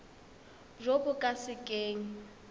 jo bo ka se keng